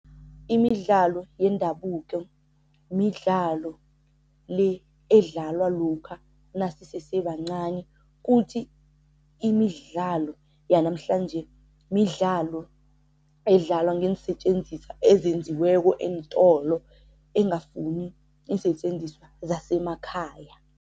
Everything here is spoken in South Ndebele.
Imidlalo yendabuko midlalo le edlalwa lokha nasisese bancani kuthi imidlalo yanamhlanje midlalo edlalwa ngeensetjenziswa ezenziweko eentolo engafuni iinsetjenziswa zasemakhaya.